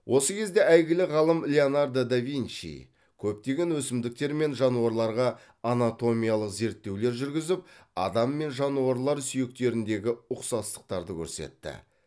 осы кезде әйгілі ғалым леонардо да винчи көптеген өсімдіктер мен жануарларға анатомиялық зерттеулер жүргізіп адам мен жануарлар сүйектеріндегі ұқсастықтарды көрсетті